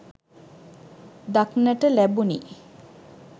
දක්නට ලැබුණි